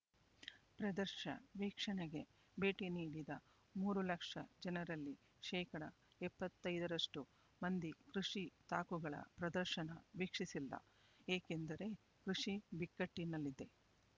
ಪ್ರದರ್ಶ ವೀಕ್ಷಣೆಗೆ ಭೇಟಿ ನೀಡಿದ ಮೂರು ಲಕ್ಷ ಜನರಲ್ಲಿ ಶೇಕಡಾ ಎಪ್ಪತ್ತೈದರಷ್ಟು ಮಂದಿ ಕೃಷಿ ತಾಕುಗಳ ಪ್ರದರ್ಶನ ವೀಕ್ಷಿಸಿಲ್ಲ ಏಕೆಂದರೆ ಕೃಷಿ ಬಿಕ್ಕಟ್ಟಿನಲ್ಲಿದೆ